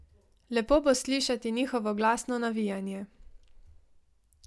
Lepo bo slišati njihovo glasno navijanje.